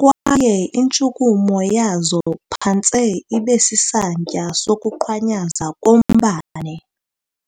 kwaye intshukumo yazo phantse ibesisantya sokuqhwanyaza kombane.